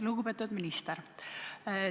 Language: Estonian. Lugupeetud minister!